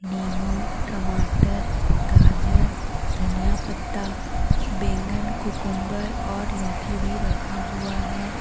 नींबू टमाटर गाजर धनिया पत्ता बैगन कुकुम्बर और लौकी भी रखा हुआ है।